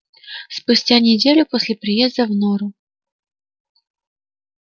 спустя неделю после приезда в нору